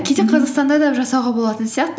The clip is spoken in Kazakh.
кейде қазақстанда да жасауға болатын сияқты